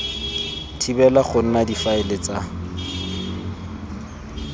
thibela go nna difaele tsa